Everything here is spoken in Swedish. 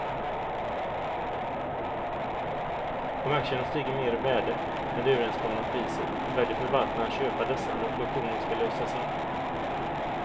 Om aktierna har stigit mer i värde än det överenskomna priset väljer förvaltaren att köpa dessa när obligationen ska lösas in.